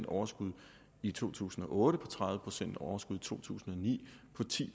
overskud i to tusind og otte på tredive procent overskud i to tusind og ni på ti